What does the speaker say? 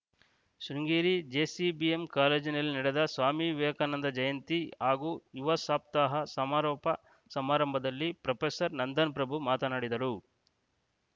Sringeri JCBM ಕಾಲೇಜಿನಲ್ಲಿ ನಡೆದ ಸ್ವಾಮಿ ವಿವೇಕಾನಂದ ಜಯಂತಿ ಹಾಗೂ ಯುವ ಸಪ್ತಾಹ ಸಮಾರೋಪ ಸಮಾರಂಭದಲ್ಲಿ ಪ್ರೊಫೆಸರ್ ನಂದನ್‌ ಪ್ರಭು ಮಾತನಾಡಿದರು